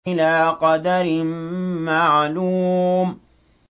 إِلَىٰ قَدَرٍ مَّعْلُومٍ